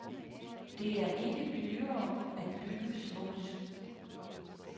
Det er ikke dyrere at bygge smukt.